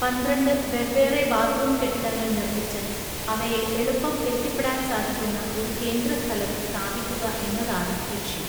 പന്ത്രണ്ട് വെവ്വേറെ ബാത്ത്റൂം കെട്ടിടങ്ങൾ നിർമ്മിച്ച് അവയെ എളുപ്പം എത്തിപ്പെടാൻ സാധിക്കുന്ന ഒരു കേന്ദ്രസ്ഥലത്ത് സ്ഥാപിക്കുക എന്നതാണ് ലക്ഷ്യം.